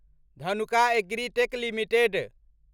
Dhanuka Agritech limited